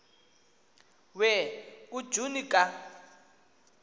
we kujuni ka